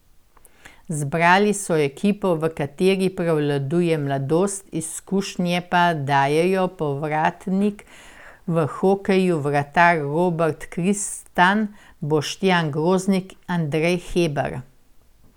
Zbrali so ekipo, v kateri prevladuje mladost, izkušnje pa dajejo povratnik v hokeju vratar Robert Kristan, Boštjan Groznik, Andrej Hebar ...